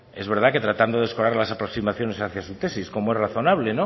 es verdad que tratando de escorar las aproximaciones hacia su tesis como es razonable